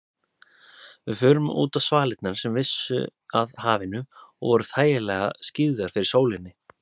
Við fórum útá svalirnar sem vissu að hafinu og voru þægilega skyggðar fyrir sólinni.